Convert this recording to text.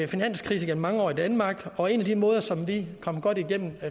finanskrise gennem mange år i danmark og en af de måder som vi kom godt igennem